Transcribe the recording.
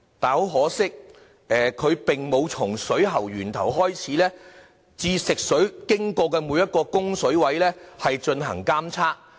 很可惜，當局並沒有從食水源頭開始至食水流經的每一個供水位進行監測。